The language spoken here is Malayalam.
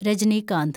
രജനികാന്ത്